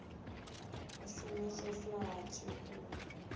u shumiseswa ha tshivhuru na